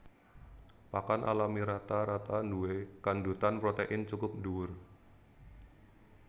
Pakan alami rata rata nduwé kandhutan protèin cukup dhuwur